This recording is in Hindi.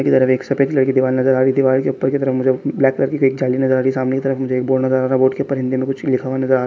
इधर भी एक सफेद रंग की दीवाल नजर आ रही है दीवाल की ऊपर की तरफ ब्लैक कलर की एक जाली नजर आ रही सामने कि तरफ मुझे एक बोर्ड नजर आ रहा है बोर्ड के ऊपर हिन्दी मे कुछ लिखा--